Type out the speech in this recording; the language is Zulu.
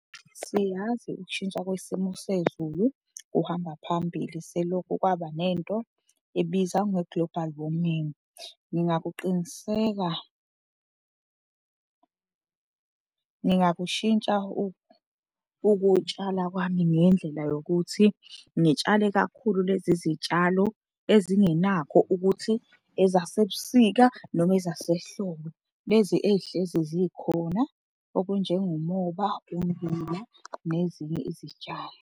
Siyazi ukushintsha kwesimo sezulu kuhamba phambili selokhu kwaba nento ebizwa nge-global warming. Ngingakuqiniseka, ngingakushintsha ukutshala kwami ngendlela yokuthi ngitshale kakhulu lezi zitshalo ezingenakho ukuthi ezasebusika noma ezasehlobo, lezi ey'hlezi zikhona okunjengomoba, ummbila nezinye izitshalo.